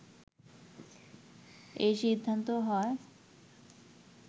এ সিদ্ধান্ত হয়